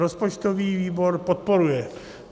Rozpočtový výbor podporuje.